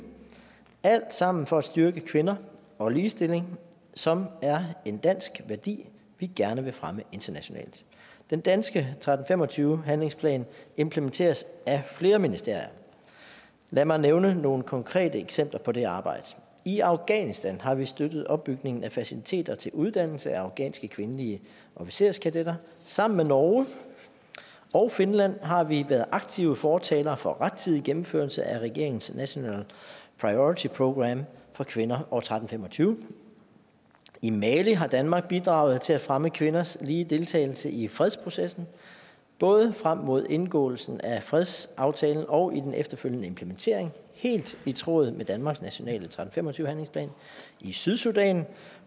alt sammen for at styrke kvinder og ligestilling som er en dansk værdi vi gerne vil fremme internationalt den danske tretten fem og tyve handlingsplan implementeres af flere ministerier lad mig nævne nogle konkrete eksempler på det arbejde i afghanistan har vi støttet opbygningen af faciliteter til uddannelse af afghanske kvindelige officerskadetter sammen med norge og finland har vi været aktive fortalere for rettidig gennemførelse af regeringens national priority program for kvinder og resolution tretten fem og tyve i mali har danmark bidraget til at fremme kvinders lige deltagelse i fredsprocessen både frem mod indgåelsen af fredsaftalen og i den efterfølgende implementering helt i tråd med danmarks nationale resolution tretten fem og tyve handlingsplan i sydsudan